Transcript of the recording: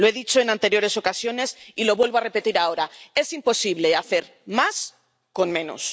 Lo he dicho en anteriores ocasiones y lo vuelvo a repetir ahora es imposible hacer más con menos.